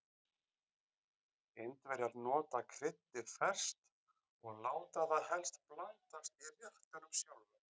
Indverjar nota kryddið ferskt og láta það helst blandast í réttinum sjálfum.